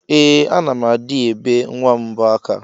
Ee ana m adi ebe nwam mbọ aka.